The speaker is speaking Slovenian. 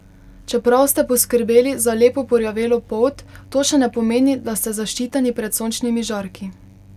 Čeprav ste poskrbeli za lepo porjavelo polt, to še ne pomeni, da ste zaščiteni pred sončnimi žarki.